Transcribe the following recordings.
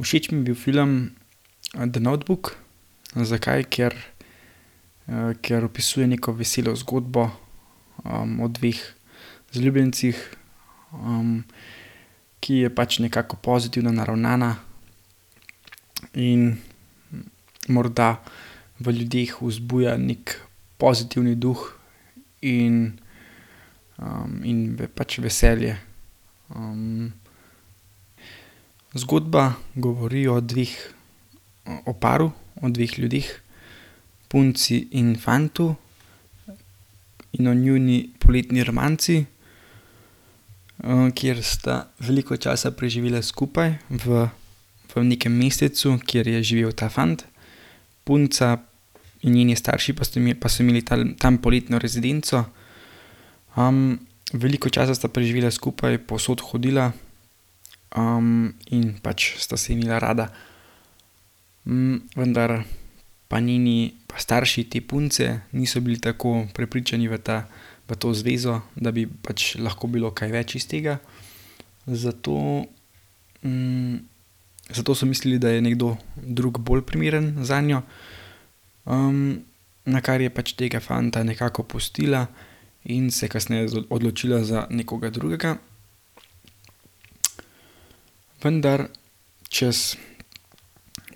Všeč mi je bil film, The notebook. Zakaj? Ker, ker opisuje neko veselo zgodbo, o dveh zaljubljencih, ki je pač nekako pozitivno naravnana in morda v ljudeh vzbuja neki pozitivni duh in, in pač veselje. zgodba govori o dveh, o paru, o dveh ljudeh, punci in fantu, in o njuni poletni romanci, kjer sta veliko časa preživela skupaj v, v nekem mestecu, kjer je živel ta fant. Punca in njeni starši pa so pa so imeli talm tam poletno rezidenco. veliko časa sta preživela skupaj, povsod hodila, in pač sta se imela rada. vendar pa njeni, pa starši te punce niso bili tako prepričani v ta, v to zvezo, da bi pač lahko bilo kaj več iz tega, zato, zato so mislili, da je nekdo drug bolj primeren zanjo. nakar je pač tega fanta nekako pustila in se kasneje odločila za nekoga drugega. Vendar čez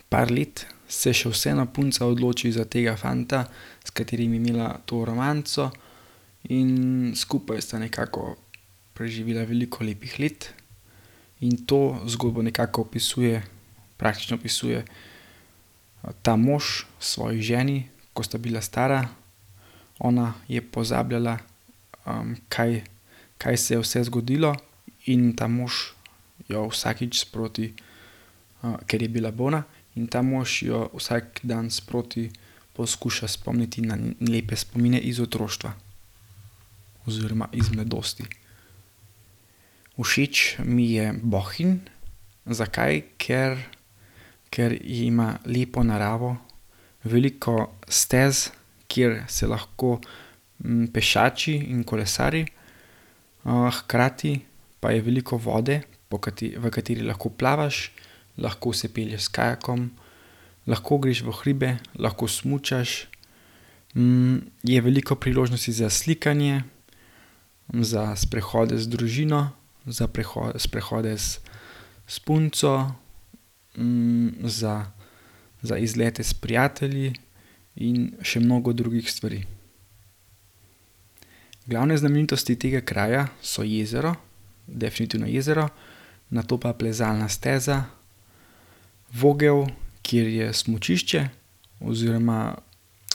par let se še vseeno punca odloči za tega fanta, s katerim je imela to romanco, in skupaj sta nekako preživela veliko lepih let. In to zgodbo nekako opisuje, praktično opisuje ta mož svoji ženi, ko sta bila stara. Ona je pozabljala, kaj, kaj se je vse zgodilo, in ta mož jo vsakič sproti, ker je bila bolna, in ta mož jo vsak dan sproti poskuša spomniti na lepe spomine iz otroštva oziroma iz mladosti. Všeč mi je Bohinj. Zakaj? Ker, ker ima lepo naravo, veliko stez, kjer se lahko, pešači in kolesari, hkrati pa je veliko vode, po v kateri lahko plavaš, lahko se pelješ s kajakom. Lahko greš v hribe, lahko smučaš. je veliko priložnosti za slikanje, za sprehode z družino, za sprehode s, s punco, za, za izlete s prijatelji in še mnogo drugih stvari. Glavne znamenitosti tega kraja so jezero, definitivno jezero, nato pa plezalna steza, Vogel, kjer je smučišče oziroma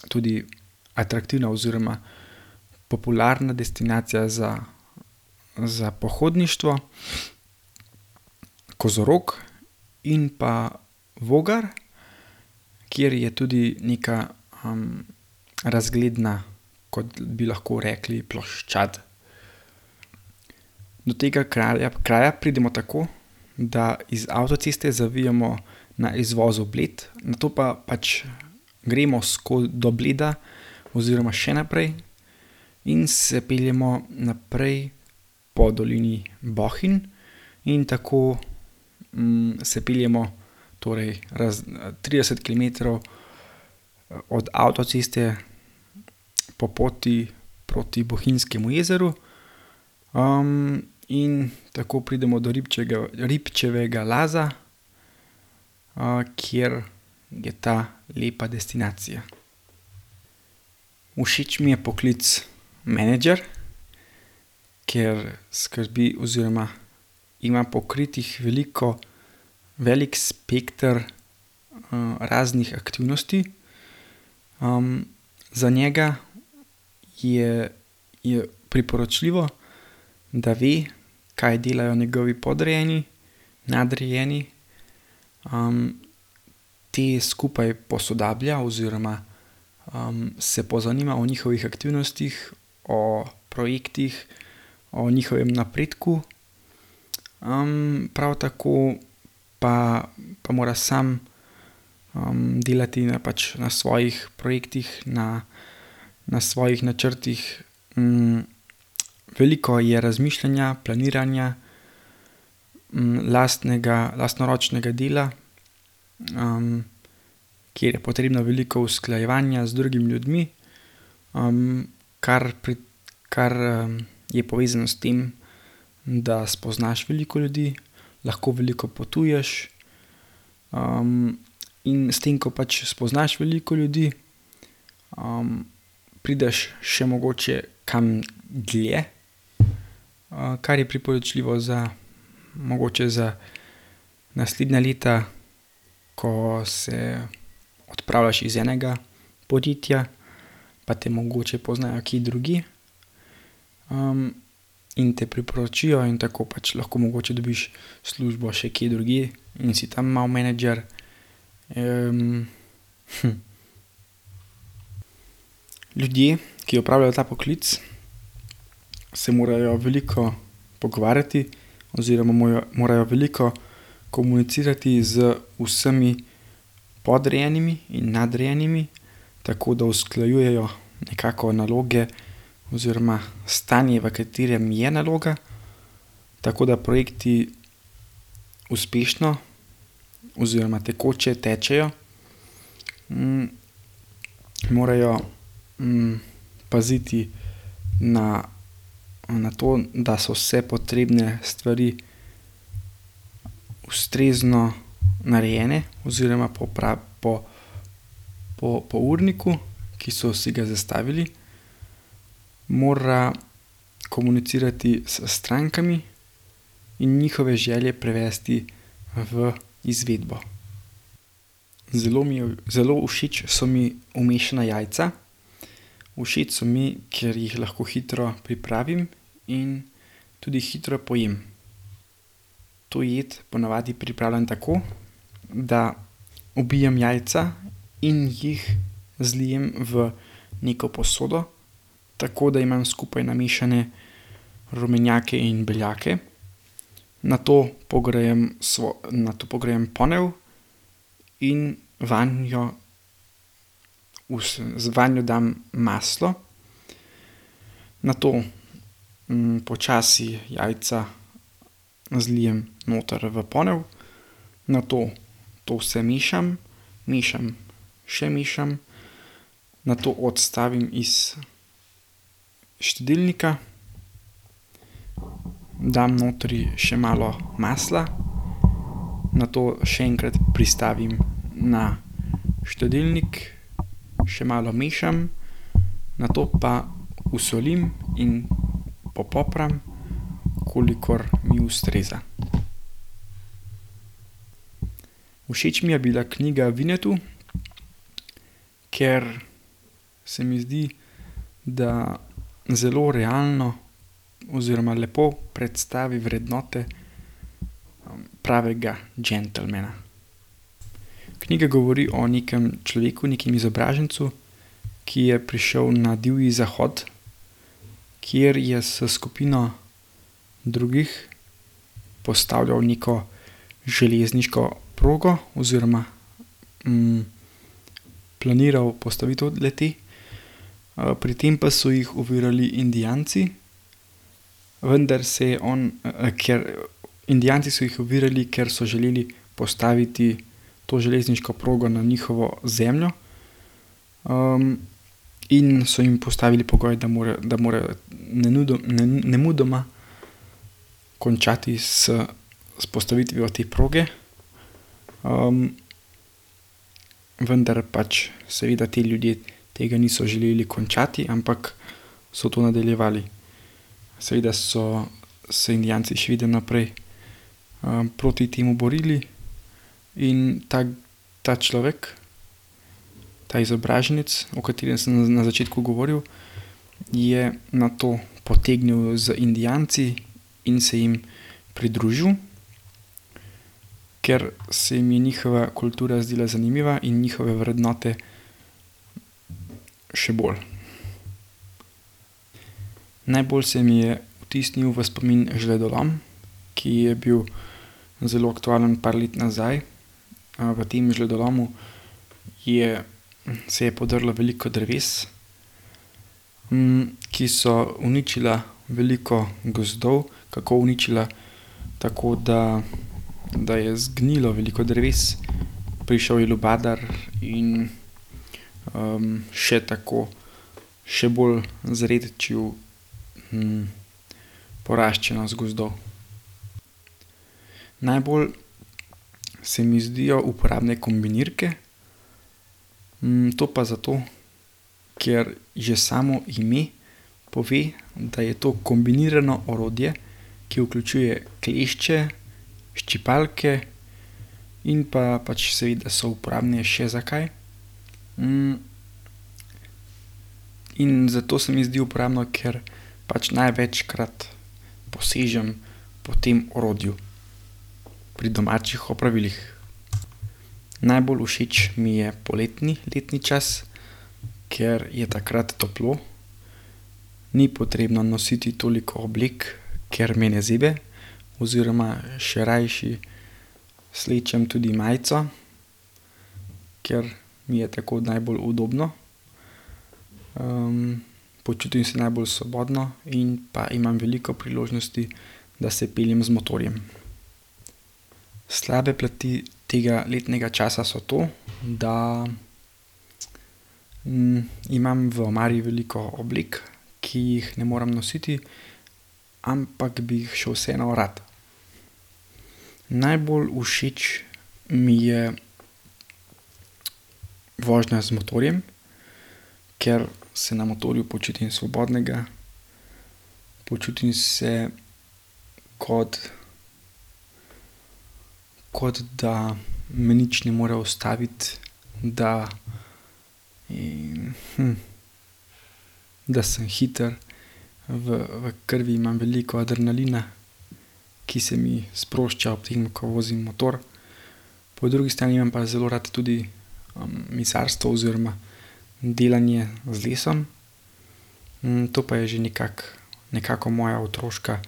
tudi atraktivna oziroma popularna destinacija za, za pohodništvo, kozorog in pa Vogar, kjer je tudi neka, razgledna, kot bi lahko rekli, ploščad. Do tega kralja, kraja pridemo tako, da iz avtoceste zavijemo na izvozu Bled, nato pa pač gremo do Bleda oziroma še naprej in se peljemo naprej po dolini Bohinj. In tako, se peljemo torej trideset kilometrov od avtoceste po poti proti Bohinjskemu jezeru. in tako pridemo do Ribčevega Laza, kjer je ta lepa destinacija. Všeč mi je poklic menedžer, ker skrbi oziroma ima pokritih veliko, veliko spekter, raznih aktivnosti. za njega je, je priporočljivo, da ve, kaj delajo njegovi podrejeni, nadrejeni, te skupaj posodablja oziroma, se pozanima o njihovih aktivnostih, o projektih, o njihovem napredku. prav tako pa, pa mora sam, delati na pač, na svojih projektih, na, na svojih načrtih. veliko je razmišljanja, planiranja, lastnega, lastnoročnega dela, kjer je potrebno veliko usklajevanja z drugimi ljudmi, kar pri, kar, je povezano s tem, da spoznaš veliko ljudi, lahko veliko potuješ, in s tem, ko pač spoznaš veliko ljudi, prideš še mogoče kam dlje. kar je priporočljivo za, mogoče za naslednja leta, ko se odpravljaš iz enega podjetja, pa te mogoče poznajo kje drugje, in te priporočijo in tako pač lahko mogoče dobiš službo še kje drugje in si tam malo menedžer, Ljudje, ki opravljajo ta poklic, se morajo veliko pogovarjati oziroma morajo, morajo veliko komunicirati z vsemi podrejenimi in nadrejenimi, tako da usklajujejo nekako naloge oziroma stanje, v katerem je naloga. Tako da projekti uspešno oziroma tekoče tečejo. morajo, paziti na, na to, da so vse potrebne stvari ustrezno narejene oziroma po, po urniku, ki so si ga zastavili. Mora komunicirati s strankami in njihove želje prevesti v izvedbo. Zelo mi je, zelo všeč so mi umešana jajca. Všeč so mi, ker jih lahko hitro pripravim in tudi hitro pojem. To jed po navadi pripravljam tako, da ubijem jajca in jih zlijem v neko posodo. Tako da imam skupaj namešane rumenjake in beljake. Nato pogrejem nato pogrejem ponev in vanjo vanjo dam maslo. Nato, počasi jajca zlijem noter v ponev. Nato to vse mešam, mešam, še mešam. Nato odstavim iz štedilnika, dam notri še malo masla, nato še enkrat pristavim na štedilnik, še malo mešam, nato pa osolim in popopram, kolikor mi ustreza. Všeč mi je bila knjiga Winnetou, ker se mi zdi, da zelo realno oziroma lepo predstavi vrednote pravega džentelmena. Knjiga govori o nekem človeku, nekem izobražencu, ki je prišel na divji zahod, kjer je s skupino drugih postavljal neko železniško progo oziroma, planiral postavitev le-te. pri tem pa so jih ovirali Indijanci, vendar se je on, ker Indijanci so jih ovirali, ker so želeli postaviti to železniško progo na njihovo zemljo. in so jim postavili pogoj, da da morajo nemudoma končati s s postavitvijo te proge. vendar pač seveda ti ljudje tega niso želeli končati, ampak so to nadaljevali. Seveda so se Indijanci še vedno naprej, proti temu borili in ta, ta človek, ta izobraženec, o katerem sem na začetku govoril, je nato potegnil z Indijanci in se jim pridružil, ker se mu je njihova kultura zdela zanimiva in njihove vrednote še bolj. Najbolj se mi je vtisnil v spomin žledolom, ki je bil zelo aktualen par let nazaj. v tem žledolomu je, se je podrlo veliko dreves, ki so uničila veliko gozdov. Kako uničila? Tako da, da je zgnilo veliko dreves, prišel je lubadar in, še tako še bolj zredčil, poraščenost gozdov. Najbolj se mi zdijo uporabne kombinirke. to pa zato, ker že samo ime pove, da je to kombinirano orodje, ki vključuje klešče, ščipalke in pa pač seveda so uporabne še za kaj. in zato se mi zdi uporabno, ker pač največkrat posežem po tem orodju pri domačih opravilih. Najbolj všeč mi je poletni letni čas, ker je takrat toplo, ni potrebno nositi toliko oblek, ker me ne zebe, oziroma še rajši slečem tudi majico, ker mi je tako najbolj udobno. počutim se najbolj svobodno in pa imam veliko priložnosti, da se peljem z motorjem. Slabe plati tega letnega časa so to, da, imam v omari veliko oblek, ki jih ne morem nositi, ampak bi jih še vseeno rad. Najbolj všeč mi je vožnja z motorjem, ker se na motorju počutim svobodnega, počutim se, kot kot da me nič ne more ustaviti, da in, da sem hitro, v, v krvi imam veliko adrenalina, ki se mi sprošča ob tem, ko vozim motor. Po drugi strani imam pa zelo rad tudi, mizarstvo oziroma delanje z lesom. to pa je že nekako, nekako moja otroška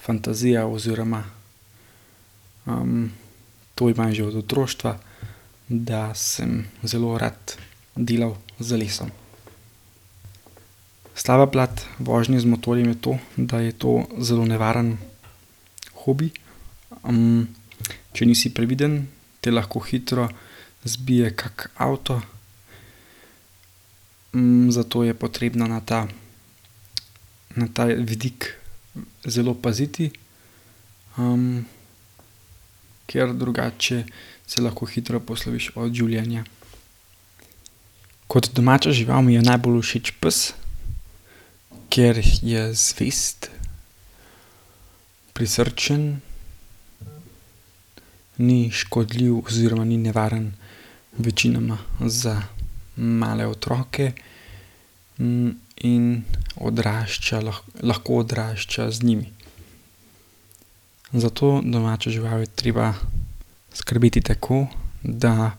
fantazija oziroma, to imam že od otroštva, da sem zelo rad delal z lesom. Slaba plat vožnje z motorjem je to, da je to zelo nevaren hobi. če nisi previden, te lahko hitro zbije kak avto. zato je potrebno na ta, na ta vidik zelo paziti, ker drugače se lahko hitro posloviš od življenja. Kot domača žival mi je najbolj všeč pes, ker je zvest, prisrčen, ni škodljiv oziroma ni nevaren večinoma za male otroke, in odrašča lahko odrašča z njimi. Za to domačo žival je treba skrbeti tako, da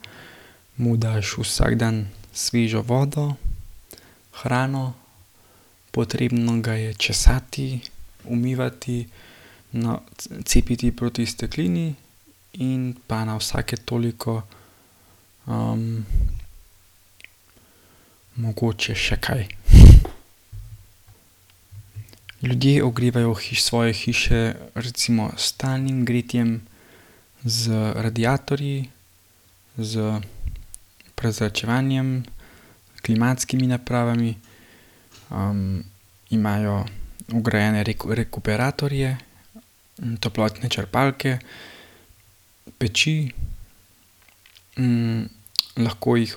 mu daš vsak dan svežo vodo, hrano, potrebno ga je česati, umivati, cepiti proti steklini in pa na vsake toliko, mogoče še kaj. Ljudje ogrevajo svoje hiše recimo s talnim gretjem, z radiatorji, s prezračevanjem, klimatskimi napravami, imajo vgrajene rekuperatorje, toplotne črpalke, peči, lahko jih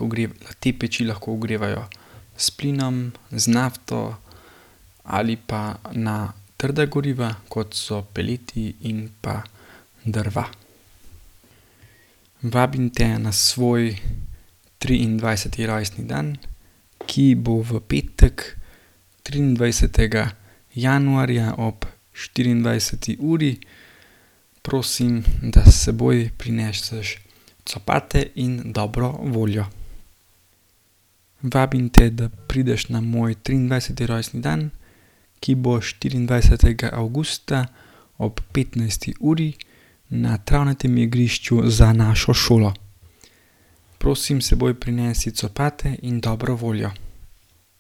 te peči lahko ogrevajo s plinom, z nafto ali pa na trda goriva, kot so peleti in pa drva. Vabim te na svoj triindvajseti rojstni dan, ki bo v petek, triindvajsetega januarja ob štiriindvajseti uri. Prosim, da s seboj prineseš copate in dobro voljo. Vabim te, da prideš na moj triindvajseti rojstni dan, ki bo štiriindvajsetega avgusta ob petnajsti uri na travnatem igrišču za našo šolo. Prosim, s seboj prinesi copate in dobro voljo.